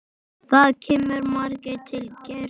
Það kemur margt til greina